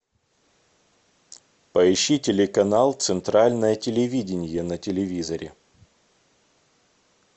поищи телеканал центральное телевидение на телевизоре